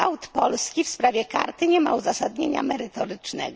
Polski w sprawie karty nie ma uzasadnienia merytorycznego.